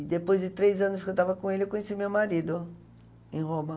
E depois de três anos que eu estava com ele, eu conheci o meu marido em Roma.